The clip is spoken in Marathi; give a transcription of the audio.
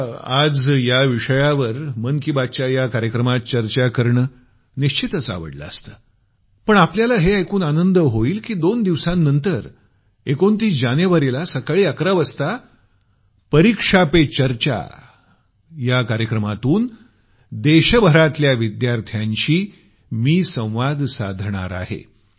मला आज या विषयावर मन की बात च्या या कार्यक्रमात चर्चा करणं निश्चितच आवडलं असतं पण आपल्याला हे ऐकून आनंद होईल की दोन दिवसांनंतर 29 जानेवारीला सकाळी 11 वाजता परीक्षा पे चर्चा कार्यक्रमातून देशभरातल्या विद्यार्थ्यांशी संवाद साधणार आहे